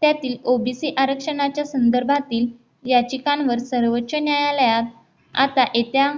त्यातील OBC आरक्षणाच्या संदर्भातील याचिकांवर सर्वोच्च न्यायालयात आता येत्या